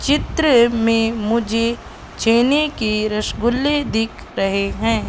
चित्र में मुझे चेने के रसगुल्ले दिख रहे है।